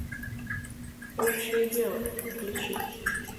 общее дело включи